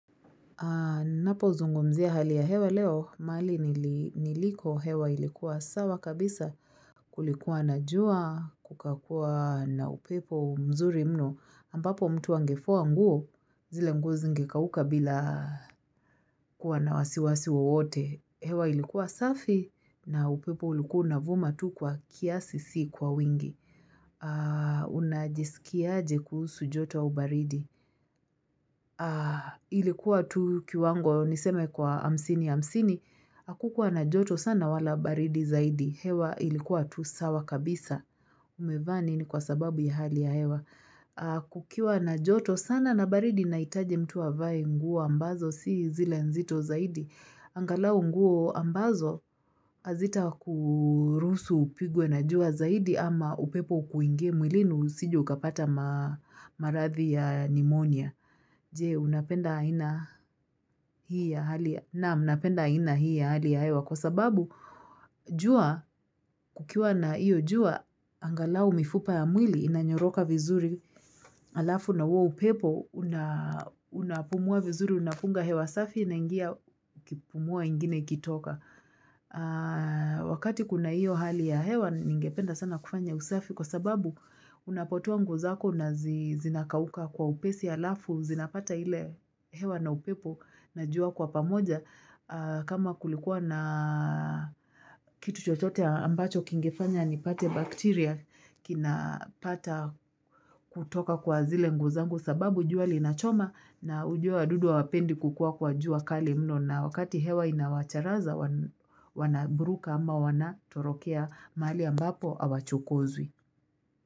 Ninapo zungumzia hali ya hewa leo, mahali niliko hewa ilikuwa sawa kabisa kulikuwa na jua, kukakuwa na upepo mzuri mno, ambapo mtu angefua nguo zile nguo zingekauka bila kuwa na wasiwasi wowote. Hewa ilikuwa safi na upepo ulikuwa unavuma tu kwa kiasi siyo kwa wingi. Unajisikiaje kuhusu joto au baridi. Ilikuwa tu kiwango niseme kwa hamsini hamsini akukua na joto sana wala baridi zaidi hewa ilikuwa tu sawa kabisa umevaa nini kwa sababu ya hali ya hewa kukiwa na joto sana na baridi nahitaji mtu avae nguo ambazo si zile nzito zaidi angalau nguo ambazo hazita kuruhusu upigwe na jua zaidi ama upepo ukuingie mwilini usije ukapata maradhi ya nimonia Je, unapenda aina hii ya hali ya, naam, ninapenda aina hii ya hali ya hewa, kwa sababu, jua, kukiwa na iyo jua, angalau mifupa ya mwili, inanyoroka vizuri, halafu na huo upepo, unapumua vizuri, unapunga hewa safi, inaingia, ukipumua nyingine ikitoka. Wakati kuna hiyo hali ya hewa ningependa sana kufanya usafi kwa sababu unapotoa nguo zako na zinakauka kwa upesi halafu zinapata ile hewa na upepo na jua kwa pamoja kama kulikuwa na kitu chotote ambacho kingefanya ni pate bacteria kinapata kutoka kwa zile nguo zangu sababu jua linachoma na ujue wadudu hawapendi kukua kwa jua kali mno na wakati hewa inawacharaza wanaburuka ama wana torokea mahali ambapo awa chukozwi.